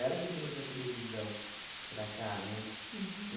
Ela que trouxe a televisão para cá, né? Uhum.